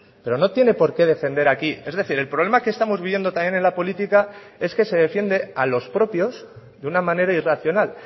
pero no tiene porqué defender aquí es decir el problema que estamos viviendo también en la política es que se defiende a los propios de una manera irracional